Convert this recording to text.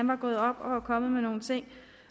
var gået op og kommet med nogle ting